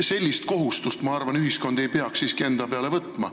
Sellist kohustust, ma arvan, ei peaks ühiskond siiski enda peale võtma.